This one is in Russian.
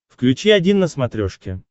включи один на смотрешке